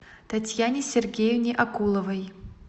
татьяне сергеевне окуловой